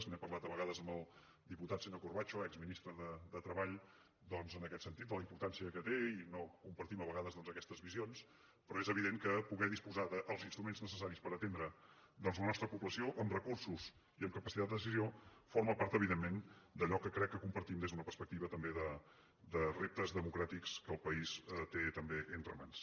n’he parlat a vegades amb el diputat senyor corbacho exministre de treball en aquest sentit de la importància que té i no compartim a vegades aquestes visions però és evident que poder disposar dels instruments necessaris per atendre la nostra població amb recursos i amb capacitat de decisió forma part evidentment d’allò que crec que compartim des d’una perspectiva també de reptes democràtics que el país té també entre mans